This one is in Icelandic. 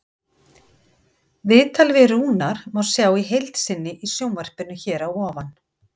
Viðtalið við Rúnar má sjá í heild sinni í sjónvarpinu hér að ofan.